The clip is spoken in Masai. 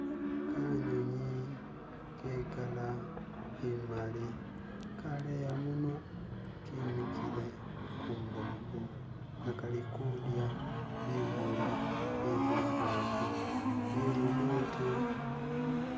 Kanyunyi ke kala imali kaleya munwa kimikile humbobo inga kalikudya bimuli bye mumbobo ye lidote